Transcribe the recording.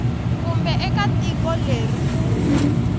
kumbe eka tiko leri ku